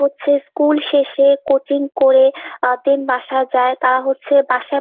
হচ্ছে school শেষে coaching করে আহ then বাসায় যায়। তারা হচ্ছে বাসায়